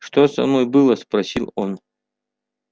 что со мной было спросил он